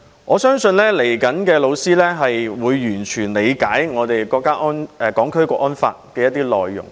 我相信將來的老師會完全理解《香港國安法》的內容。